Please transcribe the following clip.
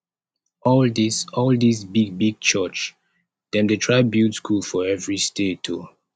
all dis all dis big big church dem dey try build skool for every state o